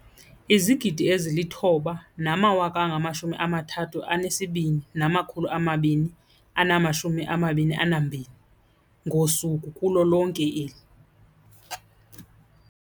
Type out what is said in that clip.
9 032 222 ngosuku kulo lonke eli.